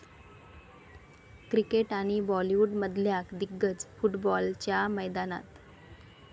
cricket आणि बॉलीवुडमधल्या दिग्गज फुटबॉलच्या मैदानात